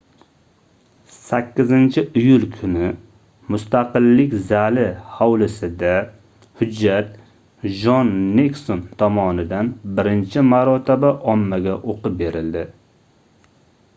8-iyul kuni mustaqillik zali hovlisida hujjat jon nikson tomonidan birinchi marotaba ommaga oʻqib berildi